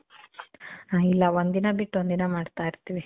ಆ, ಇಲ್ಲ, ಒಂದ್ ದಿನ ಬಿಟ್ಟು ಒಂದ್ ದಿನ ಮಾಡ್ತಾ ಇರ್ತೀವಿ.